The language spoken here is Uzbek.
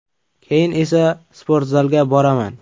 Keyin esa sportzalga boraman.